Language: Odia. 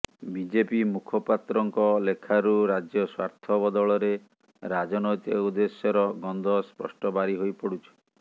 ବିଜେପି ମୁଖପାତ୍ରଙ୍କ ଲେଖାରୁ ରାଜ୍ୟ ସ୍ୱାର୍ଥ ବଦଳରେ ରାଜନୈତିକ ଉଦେଶ୍ୟର ଗନ୍ଧ ସ୍ପଷ୍ଟ ବାରି ହୋଇପଡୁଛି